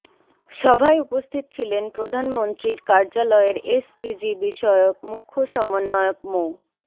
সভায় উপস্থিত ছিলেন প্রধানমন্ত্রীর কার্যালয়ের এসডিজি বিষয়ক মুখ্য সমন্বয়ক মো